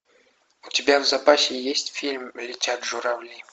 у тебя в запасе есть фильм летят журавли